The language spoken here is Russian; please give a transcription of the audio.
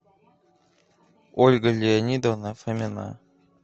ольга леонидовна фомина